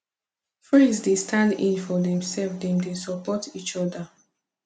friends dey stand in for dem self dem dey support each oda